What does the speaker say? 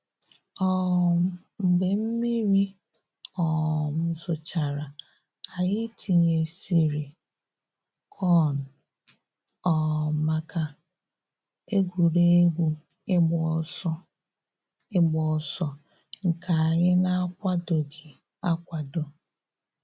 um Mgbe mmiri um zochara, anyị tinyesịrị kọn um maka egwuregwu ịgba ọsọ ịgba ọsọ nke anyị na-akwadoghị akwado